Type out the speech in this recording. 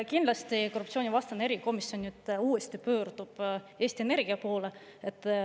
Kindlasti pöördub korruptsioonivastane erikomisjon nüüd uuesti Eesti Energia poole.